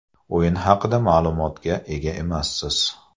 O‘yin haqida ma’lumotga ega emassiz.